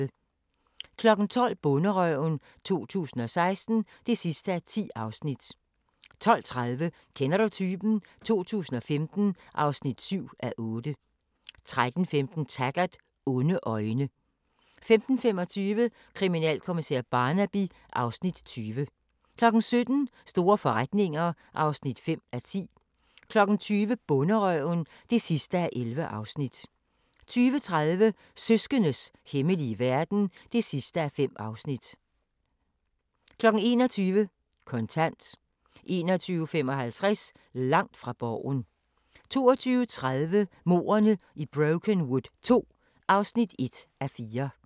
12:00: Bonderøven 2016 (10:10) 12:30: Kender du typen? 2015 (7:8) 13:15: Taggart: Onde øjne 15:25: Kriminalkommissær Barnaby (Afs. 20) 17:00: Store forretninger (5:10) 20:00: Bonderøven (11:11) 20:30: Søskendes hemmelige verden (5:5) 21:00: Kontant 21:55: Langt fra Borgen 22:30: Mordene i Brokenwood II (1:4)